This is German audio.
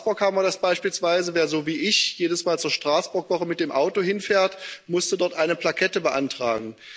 In Straßburg haben wir das beispielsweise. Wer, so wie ich, jedesmal zur Straßburgwoche mit dem Auto fährt, musste dort eine Plakette beantragen.